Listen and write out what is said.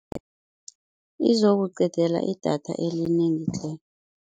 Izokuqedela idatha elinengi tle.